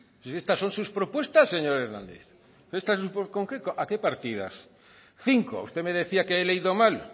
estas son sus propuestas señor hernández estas en concreto a qué partidas cinco usted me decía que he leído mal